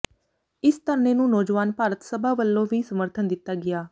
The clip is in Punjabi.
ਇਸ ਧਰਨੇ ਨੂੰ ਨੌਜਵਾਨ ਭਾਰਤ ਸਭਾ ਵਲੋਂ ਵੀ ਸਮਰਥਨ ਦਿੱਤਾ ਗਿਆ